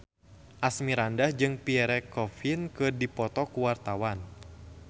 Asmirandah jeung Pierre Coffin keur dipoto ku wartawan